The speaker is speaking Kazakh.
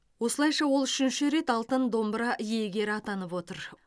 осылайша ол үшінші рет алтын домбыра иегері атанып отыр